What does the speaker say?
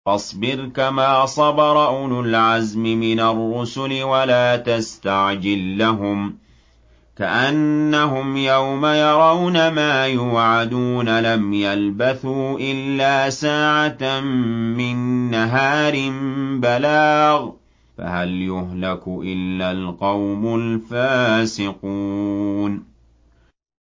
فَاصْبِرْ كَمَا صَبَرَ أُولُو الْعَزْمِ مِنَ الرُّسُلِ وَلَا تَسْتَعْجِل لَّهُمْ ۚ كَأَنَّهُمْ يَوْمَ يَرَوْنَ مَا يُوعَدُونَ لَمْ يَلْبَثُوا إِلَّا سَاعَةً مِّن نَّهَارٍ ۚ بَلَاغٌ ۚ فَهَلْ يُهْلَكُ إِلَّا الْقَوْمُ الْفَاسِقُونَ